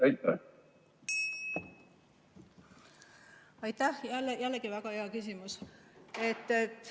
Aitäh, jällegi väga hea küsimus!